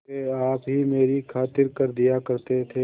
वे आप ही मेरी खातिर कर दिया करते थे